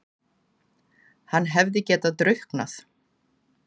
Hann hefði getað drukknað!